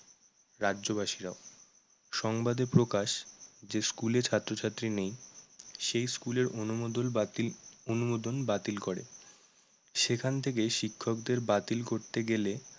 রাজ্যবাসীরাও। সংবাদে প্রকাশ যে school এ ছাত্রছাত্রী নেই সেই school এর ~অনুমোদল বাতিল অনুমোদন বাতিল করে সেখান থেকে শিক্ষকদের বাতিল করতে গেলে